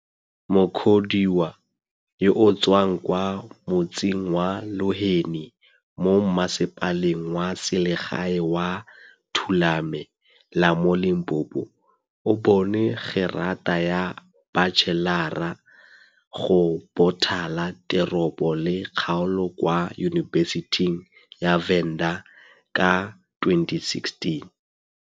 Mukhodiwa, yo o tswang kwa motseng wa Luheni mo Mmasepaleng wa Selegae wa Thulame la mo Limpopo, o bone gerata ya batšhelara go Bothala Teropo le Kgaolo kwa Yunibesithing ya Venda ka 2016.